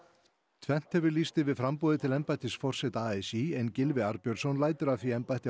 tvennt hefur lýst yfir framboði til embættis forseta a s í en Gylfi Arnbjörnsson lætur af því embætti á